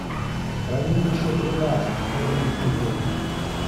хранилище тринадцать первый эпизод